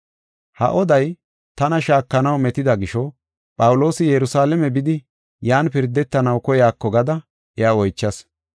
Ha oday tana shaakanaw metida gisho, Phawuloosi Yerusalaame bidi, yan pirdetanaw koyaako gada iya oychas.